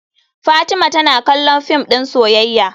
Fatima tana kallon fim din soyayya.